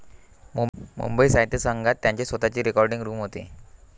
मुंबई साहित्य संघात त्यांची स्वतःची रेकॉर्डिंग रूम होती.